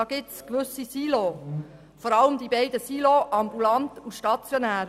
Es gibt da gewisse Silos, vor allem die Silos ambulant und stationär.